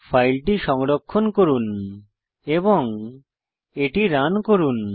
ফাইলটি সংরক্ষণ করুন এবং এটি রান করুন